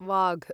वाघ्